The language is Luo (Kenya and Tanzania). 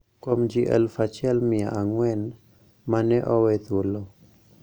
Kuom ji aluf achiel mia ang`wen ma ne owe thuolo